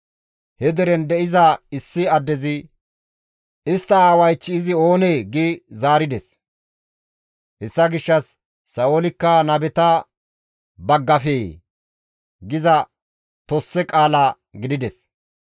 He deren de7iza issi addezi, «Istta aawaych izi oonee?» gi oychchides; hessa gishshas, «Sa7oolikka nabeta baggafee?» giza tosse qaala gidides.